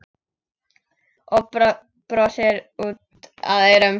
Og brosir út að eyrum.